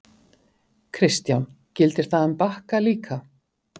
Kristján: Gildir það um Bakka líka?